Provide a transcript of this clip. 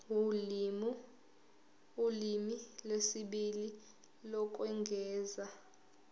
ulimi lwesibili lokwengeza